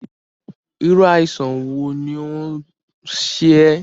Irú àìsàn wo ni ó ń ṣe ẹ́?